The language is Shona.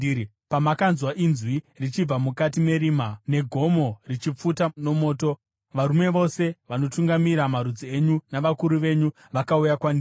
Pamakanzwa inzwi richibva mukati merima, negomo richipfuta nomoto, varume vose vanotungamira marudzi enyu, navakuru venyu vakauya kwandiri.